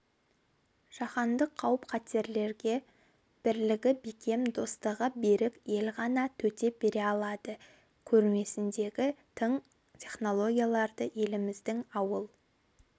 жаһандық қауіп-қатерлерге бірлігі бекем достығы берік ел ғана төтеп бере алады көрмесіндегі тың технологияларды еліміздің ауыл